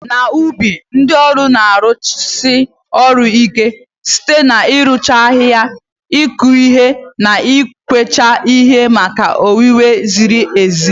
N'ubi, ndị ọrụ na-arụsi ọrụ ike site n'ịrụcha ahihia, ịkụ ihe, na ịkwacha ihe maka owuwe zirir ezi.